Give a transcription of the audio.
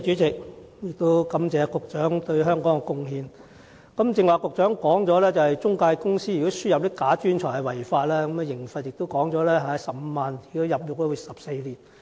正如局長剛才提到，不良中介公司輸入"假專才"屬違法，最高刑罰為罰款15萬元及入獄14年。